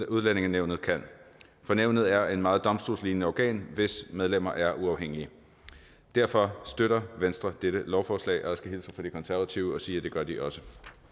udlændingenævnet kan for nævnet er et meget domstolslignende organ hvis medlemmer er uafhængige derfor støtter venstre dette lovforslag og jeg skal hilse fra de konservative og sige at det gør de også